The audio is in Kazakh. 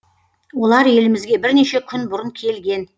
олар елімізге бірнеше күн бұрын келген